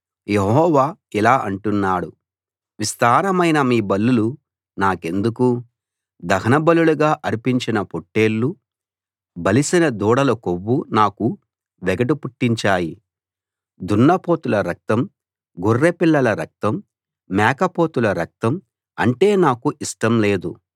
యెహోవా ఇలా అంటున్నాడు విస్తారమైన మీ బలులు నాకెందుకు దహనబలులుగా అర్పించిన పాట్టేళ్లు బలిసిన దూడల కొవ్వు నాకు వెగటు పుట్టించాయి దున్నపోతుల రక్తం గొర్రె పిల్లల రక్తం మేకపోతుల రక్తం అంటే నాకు ఇష్టం లేదు